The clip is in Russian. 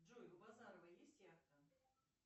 джой у базарова есть яхта